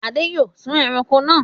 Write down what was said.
Ade yóò sun ẹran náà!